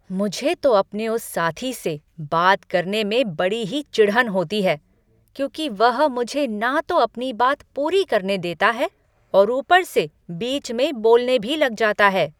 मुझे तो अपने उस साथी से बात करने में बड़ी ही चिढ़न होती है, क्योंकि वह मुझे ना तो अपनी बात पूरी करने देता है और ऊपर से बीच में बोलने भी लग जाता है।